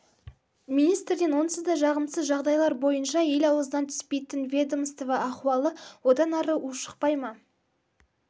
министрден онсыз да жағымсыз жағдайлар бойынша ел аузынан түспейтін ведомство ахуалы одан ары ушықпай ма